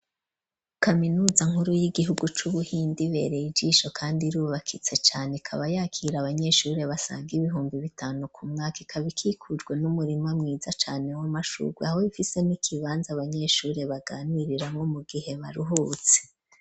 Kaminuza nkuru y'igihugu c'ubuhinde ibereye ijisho kandi irubakitse cane ikaba yakira abanyeshuri basaga ibihumbi bitanu ku mwaka ikaba ikikujwe n'umurima mwiza cane w'amashurwe, aho ifise nikibanza abanyeshuri baganiriranwo mu gihe baruhutse.